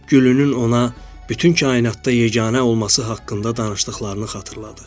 Gülünün ona bütün kainatda yeganə olması haqqında danışdıqlarını xatırladı.